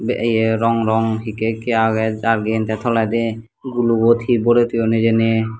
te ye rong rong hekke hekke agey jargin te toledi gulugot he borey toyon hijeni.